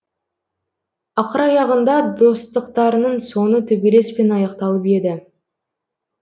ақыр аяғында достықтарының соңы төбелеспен аяқталып еді